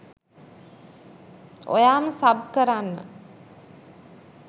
ඔයාම sub කරන්න